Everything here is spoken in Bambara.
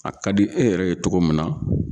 A ka di e yɛrɛ ye togo min na